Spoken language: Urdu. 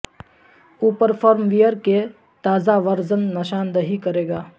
اوپر فرم ویئر کے تازہ ورژن نشاندہی کرے گا